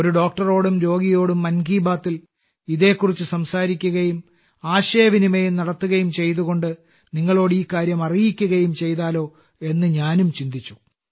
ഒരു ഡോക്ടറോടും രോഗിയോടും മൻ കി ബാത്തിൽ ഇതിനെക്കുറിച്ച് സംസാരിക്കുകയും ആശയവിനിമയം നടത്തുകയും ചെയ്തുകൊണ്ട് നിങ്ങളോട് ഈ കാര്യം അറിയിക്കുകയും ചെയ്താലോ എന്ന് ഞാനും ചിന്തിച്ചു